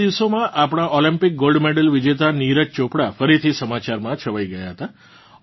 પાછલાં દિવસોમાં આપણાં Olympic gold medal વિજેતા નીરજ ચોપડા ફરીથી સમાચારમાં છવાઇ ગયાં હતા